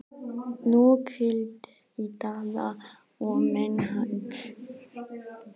Nú grillti í Daða og menn hans.